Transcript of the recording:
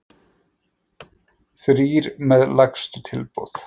Þrír með lægstu tilboð